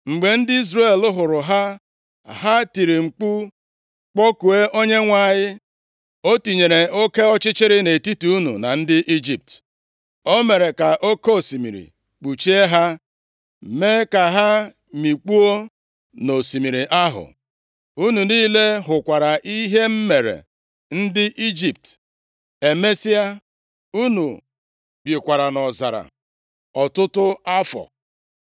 Mgbe ndị Izrel hụrụ ha, ha tiri mkpu kpọkuo Onyenwe anyị. O tinyere oke ọchịchịrị nʼetiti unu na ndị Ijipt. O mere ka oke osimiri kpuchie ha, mee ka ha mikpuo nʼosimiri ahụ. Unu niile hụkwara ihe m mere ndị Ijipt. Emesịa, unu bikwara nʼọzara ọtụtụ afọ.